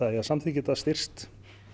eigi að samþykkja þetta styrkst